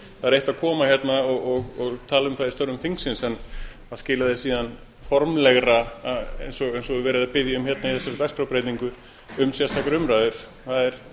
er eitt að koma hérna og tala um það í störfum þingsins en að skila því síðan formlegra eins og beðið er um í þessari dagskrártillögu um sérstakar umræður er